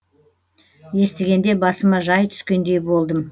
естігенде басыма жай түскендей болдым